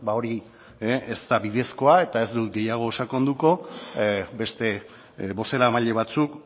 hori ez da bidezkoa eta ez dut gehiago sakonduko beste bozeramaile batzuk